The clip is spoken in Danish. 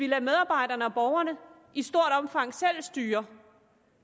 lader medarbejderne og borgerne i stort omfang selv styre